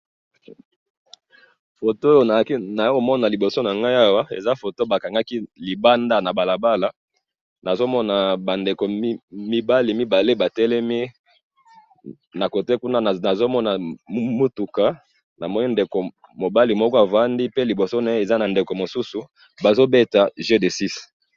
photo oyo nazo mona liboso nanga eza photo bakangaki limbanda na balabala na zo mona mbandeko mibali mibale ba telemi na cote kuna nazo mona mutuka namoni mubali moko avandi pe liboso naye aza na ndeko mosusu bazo beta jeu de six six